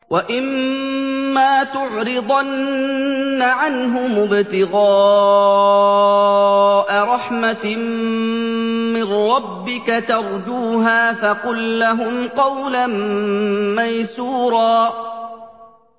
وَإِمَّا تُعْرِضَنَّ عَنْهُمُ ابْتِغَاءَ رَحْمَةٍ مِّن رَّبِّكَ تَرْجُوهَا فَقُل لَّهُمْ قَوْلًا مَّيْسُورًا